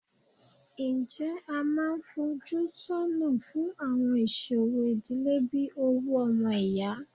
Ǹjẹ́ a máa ń fojú sọ́nà fún àwọn ìṣòro ìdílé bí owú ọmọ ìyá?